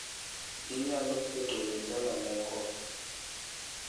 inyalo keto lingala moko